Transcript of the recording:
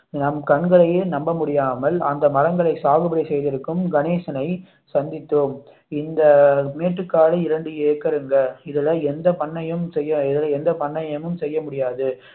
நம் கண்களையே நம்ப முடியாமல் அந்த மரங்களை சாகுபடி செய்திருக்கும் கணேசனை சந்தித்தோம் இந்த மேட்டுக்காடு இரண்டு ஏக்கருங்க இதுல எந்த பண்ணையம் செய்ய எந்த பண்ணையமும் செய்ய முடியாது